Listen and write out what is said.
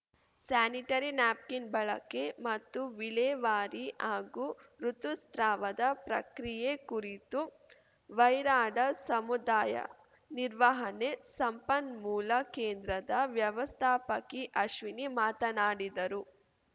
sanitary napkin ಬಳಕೆ ಮತ್ತು ವಿಲೇವಾರಿ ಹಾಗೂ ಋುತುಸ್ರಾವದ ಪ್ರಕ್ರಿಯೆ ಕುರಿತು ವೈರಾಡ ಸಮುದಾಯ ನಿರ್ವಹಣೆ ಸಂಪನ್ಮೂಲ ಕೇಂದ್ರದ ವ್ಯವಸ್ಥಾಪಕಿ ಅಶ್ವಿನಿ ಮಾತನಾಡಿದರು